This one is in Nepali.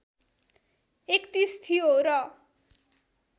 ३१ थियो र